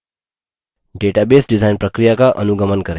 database design प्रक्रिया का अनुगमन करें